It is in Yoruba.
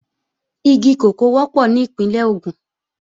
Igi kòkó wọ́pọ̀ ní Ìpínlẹ̀ Ògùn